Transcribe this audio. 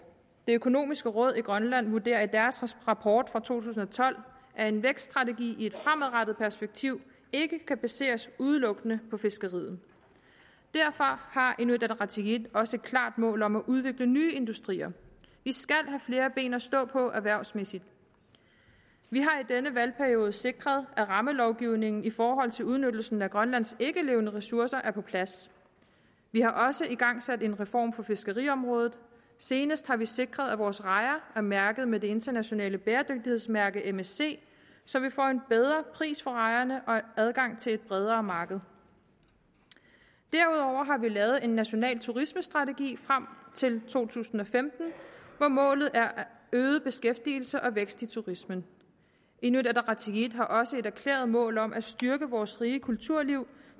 det økonomiske råd i grønland vurderer i deres rapport fra to tusind og tolv at en vækststrategi i et fremadrettet perspektiv ikke kan baseres udelukkende på fiskeriet derfor har inuit ataqatigiit også et klart mål om at udvikle nye industrier vi skal have flere ben at stå på erhvervsmæssigt vi har i denne valgperiode sikret at rammelovgivningen i forhold til udnyttelsen af grønlands ikkelevende ressourcer er på plads vi har også igangsat en reform på fiskeriområdet senest har vi sikret at vores rejer er mærket med det internationale bæredygtighedsmærke msc så vi får en bedre pris for rejerne og adgang til et bredere marked derudover har vi lavet en national turismestrategi frem til to tusind og femten hvor målet er øget beskæftigelse og vækst i turismen inuit ataqatigiit har også et erklæret mål om at styrke vores rige kulturliv